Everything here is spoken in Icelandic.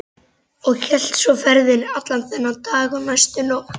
Og hélt svo ferðinni allan þann dag og næstu nótt.